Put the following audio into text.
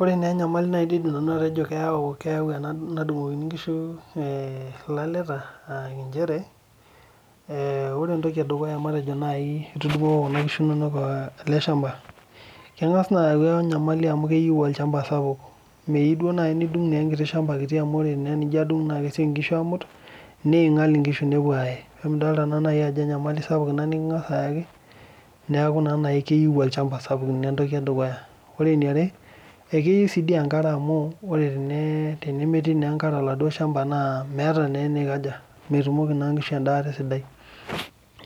Ore naa enyamali naidim naaji nanu atejo keyau ena nadungokini nkishu ilaleta naa nchere, ee ore entoki edukuya matejo naaji, keyau Kuna kishu inonok ele shampa keng'as naa ayau Enyamali amu keyieu naa itudungo ele shampa sapuk. meyieu naaji naa itudungo ewueji sapuk neing'ial inkishu nepuo aaye. neeku enyamali sapuk Ina nikingas ayaki. neeku naa keyieu olchampa sapuk Ina entoki edukuya. ore eniare, ekeyiu sii dii enkare amu tenemetii enkare olchampa naa meeta naa enikaja. metumoki naa nkishu edaata esidai.